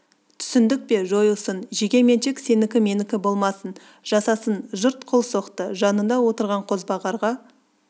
түсіндік пе жойылсын жеке меншік сенікі-менікі болмасын жасасын жұрт қол соқты жанында отырған қозбағарға